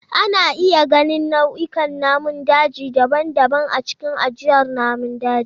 Ana iya ganin nau'ikan namun daji daban-daban a cikin ajiyar namun daji.